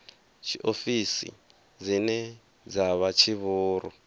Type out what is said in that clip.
tshiofisi dzine dza vha tshivhuru